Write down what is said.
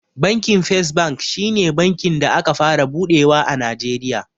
Bankin fes bank shi ne bankin da aka fara buɗewa a najeriya